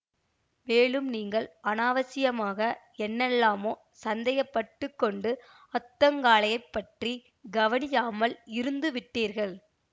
மேலும் நீங்கள் அநாவசியமாக என்னெல்லாமோ சந்தேகப்பட்டுக் கொண்டு அத்தங்காளையப் பற்றி கவனியாமல் இருந்து விட்டீர்கள்